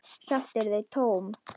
Samt eru þau tóm.